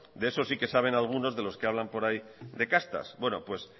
de eso sí que saben algunos de los que hablan por ahí de castas bueno pues